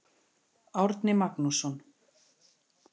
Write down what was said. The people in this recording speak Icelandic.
Árni Magnússon.